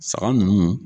Saga ninnu